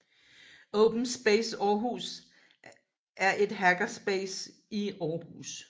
Open Space Aarhus er et hackerspace i Aarhus